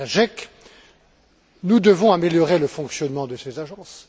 Strejček, nous devons améliorer le fonctionnement de ces agences.